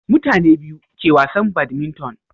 mutane biyu ke wasan badminton